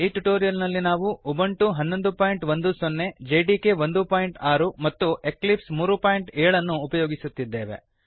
ಈ ಟ್ಯುಟೋರಿಯಲ್ ನಲ್ಲಿ ನಾವು ಉಬುಂಟು 1110 ಹನ್ನೊಂದು ಬಿಂದು ಹತ್ತು ಜೆಡಿಕೆ 16 ಒಂದು ಬಿಂದು ಆರು ಮತ್ತು ಎಕ್ಲಿಪ್ಸ್ 37 ಮೂರು ಬಿಂದು ಏಳು ಅನ್ನು ಉಪಯೋಗಿಸುತ್ತಿದ್ದೇವೆ